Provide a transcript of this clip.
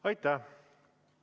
Aitäh!